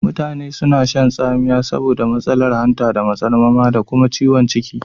Mutane suna shan tsamiya saboda matsalar hanta da matsarmama da kuma ciwukan ciki.